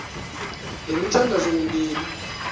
le mithandazo mibini